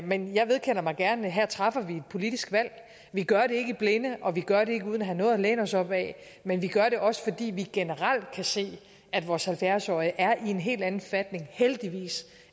men jeg vedkender mig gerne at her træffer vi et politisk valg vi gør det ikke i blinde og vi gør det ikke uden at have noget at læne os op ad men vi gør det også fordi vi kan se at vores halvfjerds årige generelt er i en helt anden forfatning heldigvis